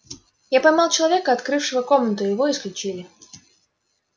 я поймал человека открывшего комнату и его исключили